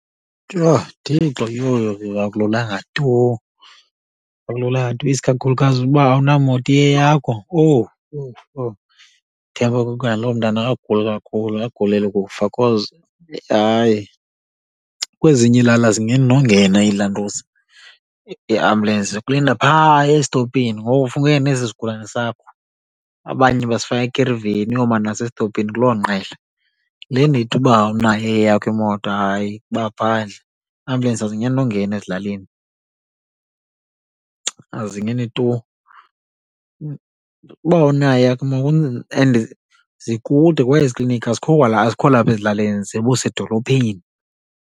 Yho, Thixo! Yho, yho, yho akululanga tu, akululanga tu isikakhulukazi uba awunamoto iyeyakho. Owu, owu, owu naloo mntana akaguli kakhulu, akaguleli kufa cause, hayi, kwezinye ilale azingeni nongena iilantuza iambulensi, zikulinda phaa esitopini. Ngoku funeka uye nesi sigulane sakho, abanye basifaka ekiriveni uyoma naso esitopini kuloo ngqele. Yile ndithi uba awunayo eyakho imoto hayi, kuba phandle, ambulensi azingeni nongena ezilalini, azingeni tu. Uba awunayo eyakho . And zikude kwa ezikliniki, azikho kwala, azikho lapha ezilalini zibusedolophini.